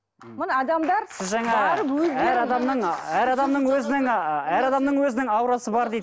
міне адамдар әр адамның өзінің әр адамның өзінің аурасы бар дейді